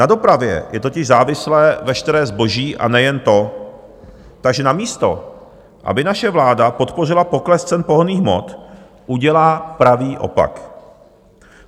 Na dopravě je totiž závislé veškeré zboží, a nejen to, takže namísto aby naše vláda podpořila pokles cen pohonných hmot, udělá pravý opak.